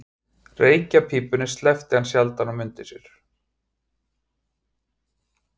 Reykjarpípunni sleppti hann sjaldan úr munni sér.